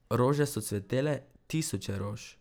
Rože so cvetele, tisoče rož.